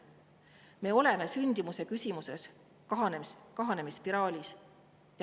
Me oleme sündimuse küsimuses kahanemisspiraalis.